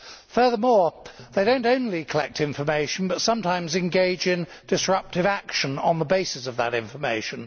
Furthermore, they do not only collect information but also sometimes engage in disruptive action on the basis of that information.